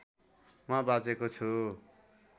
म बाँचेको छु